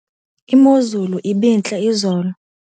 Imozulu ibintle izolo.